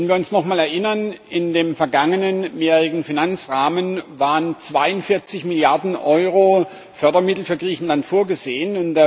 Wenn wir uns noch einmal erinnern Im vergangenen mehrjährigen Finanzrahmen waren 42 Milliarden Euro Fördermittel für Griechenland vorgesehen.